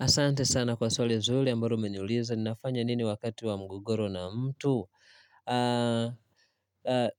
Asante sana kwa swali zuri ambalo umeniuliza ninafanya nini wakati wa mgogoro na mtu.